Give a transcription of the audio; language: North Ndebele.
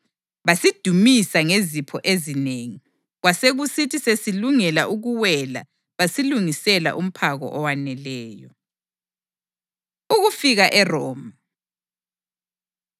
Basidumisa ngezipho ezinengi, kwasekusithi sesilungela ukuwela basilungisela umphako owaneleyo. Ukufika ERoma